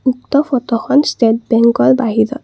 উক্ত ফটোখন ষ্টেট বেঙ্কৰ বাহিৰৰ।